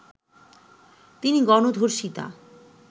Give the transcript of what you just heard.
তিনি গণধর্ষিতা